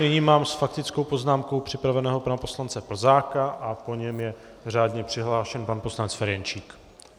Nyní mám s faktickou poznámkou připraveného pana poslance Plzáka a po něm je řádně přihlášen pan poslanec Ferjenčík.